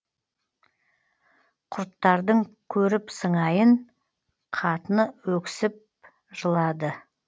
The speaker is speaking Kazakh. құрттардың көріп сыңайын қатыны өксіп жылады